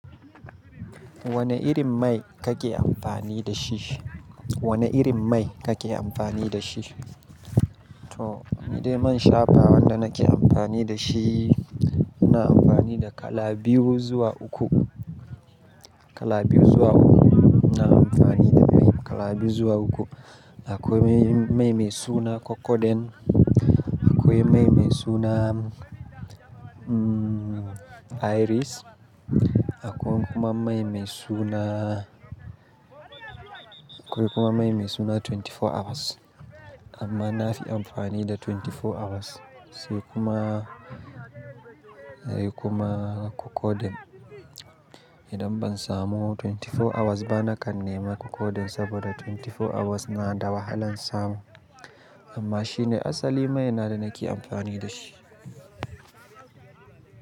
Wane irin mai kake amfani da shi? Wane irin mai kake amfani da shi? To, ni dai man shafaw wanda nake amfani da shi, ina amfani da kala biyu zuwa uku. Kala biyu zuwa uku. Ina amfani da mai kala biyu zuwa uku. Akwai mai mai suna Cocoden, akwai mai mai suna, umm, Iris, akwai kuma mai mai suna, akwai kuma mai mai suna 24 hours. Amma na fi amfani da 24 hours sai kuma, sai kuma Cocoden. Idan ban samu 24 hours ba, nakan nema Cocoden saboda 24 hours na da wahalan samu. Amma shi ne asali mai na da nake amfani da shi.